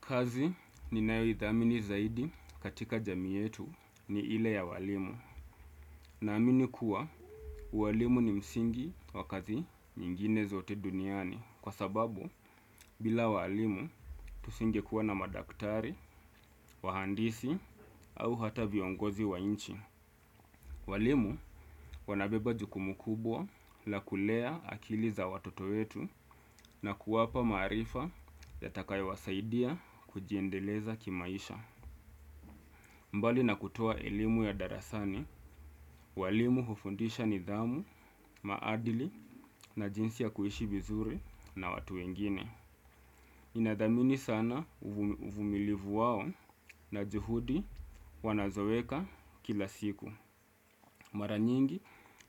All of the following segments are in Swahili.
Kazi ninayoithamini zaidi katika jamii yetu ni ile ya walimu. Naamini kuwa walimu ni msingi wa kazi nyingine zote duniani. Kwa sababu bila walimu tusingekuwa na madaktari, wahandisi au hata viongozi wa nchi. Walimu wanabeba jukumu kubwa la kulea akili za watoto wetu na kuwapa maarifa yatakayowasaidia kujiendeleza kimaisha. Mbali na kutoa elimu ya darasani, walimu hufundisha nidhamu, maadili na jinsi ya kuishi vizuri na watu wengine. Ninathamini sana uvumilivu wao na juhudi wanazoweka kila siku. Mara nyingi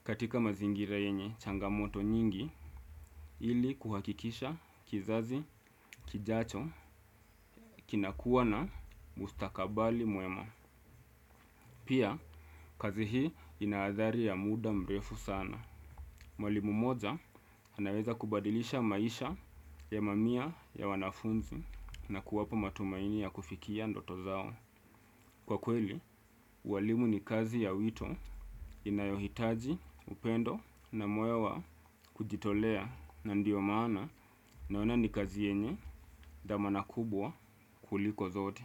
katika mazingira yenye changamoto nyingi ili kuhakikisha kizazi kijacho kinakuwa na mustakabali mwema. Pia, kazi hii ina athari ya muda mrefu sana. Mwalimu moja, anaweza kubadilisha maisha ya mamia ya wanafunzi na kuwapa matumaini ya kufikia ndoto zao. Kwa kweli, ualimu ni kazi ya wito inayohitaji upendo na moyo wa kujitolea na ndio maana naona ni kazi yenye thamana kubwa kuliko zote.